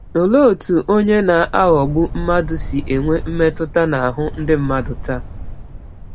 Olee otú onye na-aghọgbu mmadụ si enwe mmetụta n’ahụ ndị mmadụ taa?